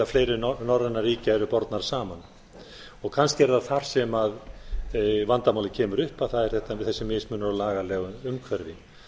fleiri norrænna ríkja eru bornar saman kannski er það þar sem vandamálið kemur upp það þetta þessi mismunur á lagalegu umhverfi